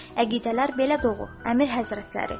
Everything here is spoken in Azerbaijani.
Əqidələr belə doğur, Əmir həzrətləri.